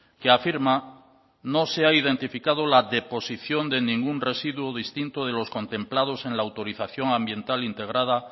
que afirma no se ha identificado la deposición de ningún residuo distinto de los contemplados en la autorización ambiental integrada